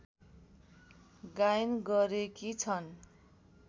गायन गरेकी छन्